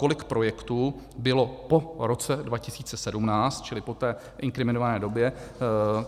Kolik projektů bylo po roce 2017, čili po té inkriminované době?